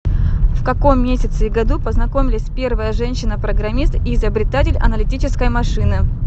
в каком месяце и году познакомились первая женщина программист и изобретатель аналитической машины